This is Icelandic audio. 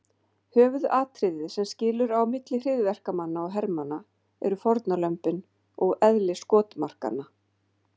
Höfuðatriðið sem skilur á milli hryðjuverkamanna og hermanna eru fórnarlömbin og eðli skotmarkanna.